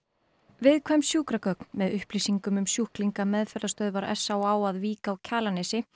viðkvæm sjúkragögn með upplýsingum um sjúklinga meðferðarstöðvar s á á að Vík á Kjalarnesi